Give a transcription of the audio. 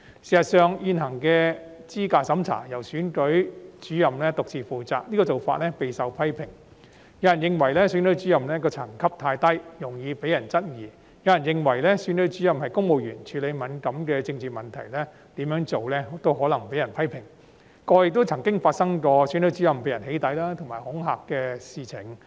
事實上，現行的資格審查由選舉主任獨自負責，這種做法備受批評，有人認為選舉主任的層級太低，容易被人質疑，亦有人認為選舉主任是公務員，處理敏感的政治問題無論如何也可能被人批評，過去便曾發生選舉主任被人"起底"和恐嚇的事情。